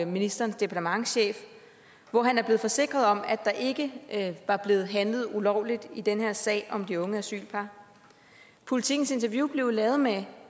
ministerens departementschef hvor han er blevet forsikret om at der ikke var blevet handlet ulovligt i den her sag om de unge asylpar politikens interview blev lavet med